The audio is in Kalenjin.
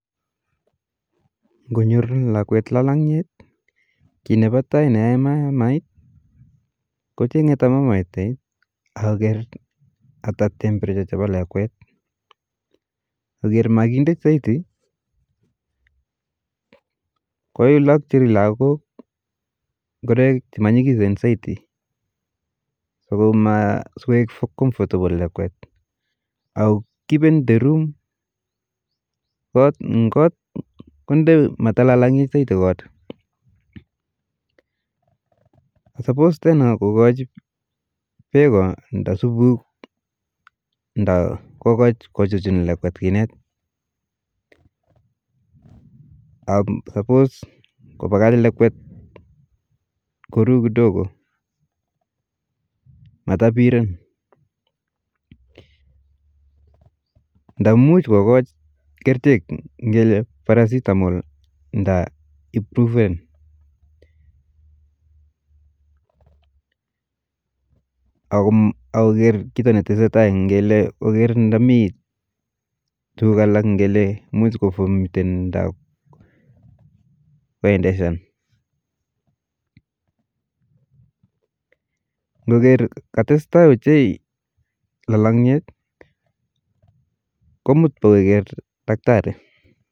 Konyoru lakwek lalanyet ki nepa tai ne ae mamait kochenge tamomait akoker ata temperature chepa lakwet , ngo ker makindet saiti kuilakchi lakwok ngoroik chemanyikisen saiti sokoek comfortable lakwet ako kipen kot konde matalalangit saiti kot, supos tena kokoch peko nda supuk nda kokoch kochuchun lakwet kinet ,ak supos kopakach lakwet koru kidogo ,matapiren ,nda much kokoch kerchek ngele paracetamol nda proven, ako koker kito netese tai ngele koker nda mii tukul alak ngele muj kovomuten nda koendeshan, ngoker katest tai ochei lalanyet komut pokoker daktari